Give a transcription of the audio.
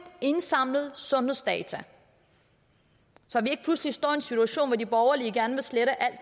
indsamlede sundhedsdata så vi ikke pludselig står i en situation hvor de borgerlige gerne vil slette alt